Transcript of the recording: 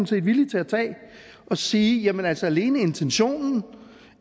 set villig til at tage og sige jamen altså alene intentionen